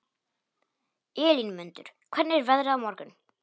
Elínmundur, hvernig er veðrið á morgun?